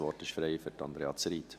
Das Wort ist frei für Andrea Zryd.